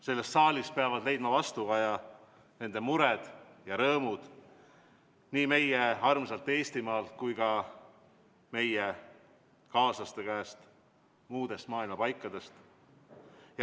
Selles saalis peavad leidma vastukaja nende mured ja rõõmud, nii meie armsalt Eestimaalt kui ka meie kaaslaste käest muudest maailma paikadest.